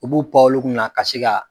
U b'u pan olu kun na ka se ka